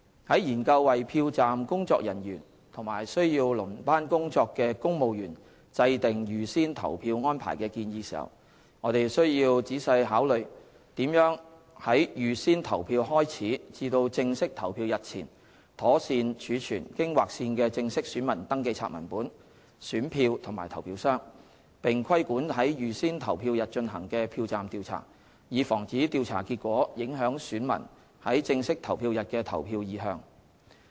在研究為票站工作人員及需要輪班工作的公務員制訂預先投票安排的建議時，我們須仔細考慮如何在預先投票開始至正式投票日前，妥善儲存經劃線的正式選民登記冊文本、選票及投票箱，並規管在預先投票日進行的票站調查，以防止調查結果影響選民在正式投票日的投票意向。